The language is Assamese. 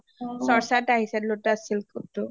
চৰ্চাত আহিছে lotus silk টো